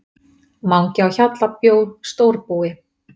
Mangi á Hjalla bjó stórbúi.